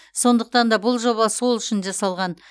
сондықтан да бұл жоба сол үшін жасалған